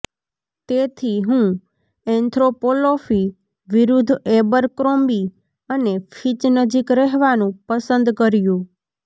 તેથી હું ઍન્થ્રોપોલોફી વિરુદ્ધ એબરક્રોમ્બી અને ફિચ નજીક રહેવાનું પસંદ કર્યું